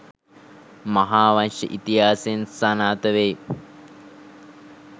මහාවංශ ඉතිහාසයෙන් සනාථ වෙයි.